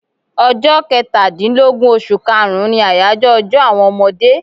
Ọjọ́ Kẹtàdínlógún oṣù kaàrún ni àyájọ́ ọjọ́ àwọn ọmọdé